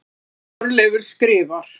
Þorleifur skrifar: